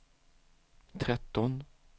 tretton